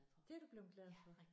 Det du bleven glad for?